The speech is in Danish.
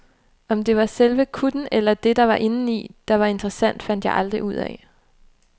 Om det var selve kutten, eller det der var inden i, der var interessant, fandt jeg aldrig ud af.